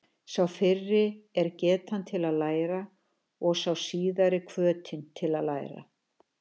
Sá fyrri er getan til að læra og sá síðari hvötin til að læra.